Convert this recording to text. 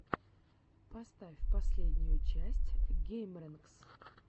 поставь последнюю часть геймрэнкс